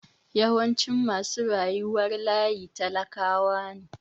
Yawancin masu rayuwar layi talakawa ne.